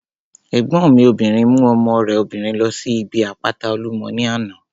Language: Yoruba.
Ẹ̀gbọ́n mi obìnrin mú ọmọ rẹ̀ obìnrin ló síbi àpáta Olúmọ ní àná